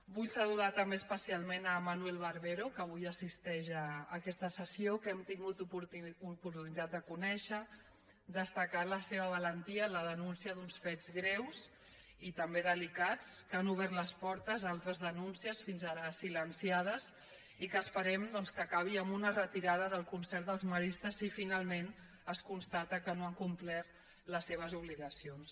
vull saludar també especialment manuel barbero que avui assisteix a aquesta sessió que hem tingut oportunitat de conèixer destacar la seva valentia en la denúncia d’uns fets greus i també delicats que han obert les portes a altres denúncies fins ara silenciades i que esperem doncs que acabi amb una retirada del concert als maristes si finalment es constata que no han complert les seves obligacions